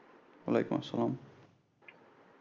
ওয়ালাইকুম অসাল্লাম